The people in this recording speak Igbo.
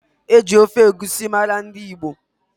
E ji ofe egusi mara ndị Igbo.